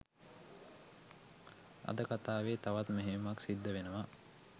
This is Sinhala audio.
අද කතාවෙ තවත් මෙහෙයුමක් සිද්ධ වෙනවා